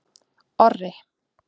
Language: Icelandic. Orri